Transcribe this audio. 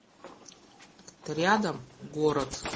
рядом город